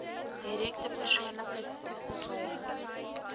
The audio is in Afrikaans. direkte persoonlike toesighouding